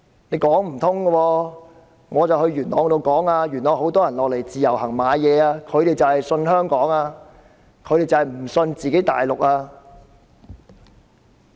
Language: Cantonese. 我到元朗呼籲市民，那裏有很多大陸人來自由行購物，因為他們相信香港，不相信大陸。